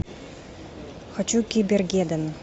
хочу кибергеддон